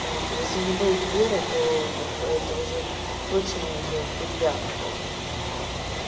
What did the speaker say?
вот если не будет веры то это уже точно уже петля просто